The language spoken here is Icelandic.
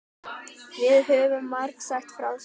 Við höfum margsagt frá því.